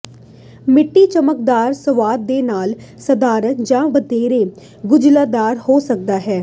ਮਿੱਟੀ ਚਮਕਦਾਰ ਸਵਾਦ ਦੇ ਨਾਲ ਸਧਾਰਨ ਜਾਂ ਵਧੇਰੇ ਗੁੰਝਲਦਾਰ ਹੋ ਸਕਦੀ ਹੈ